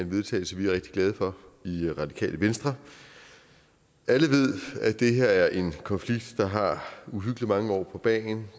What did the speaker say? vedtagelse vi er rigtig glade for i radikale venstre alle ved at det her er en konflikt der har uhyggelig mange år på bagen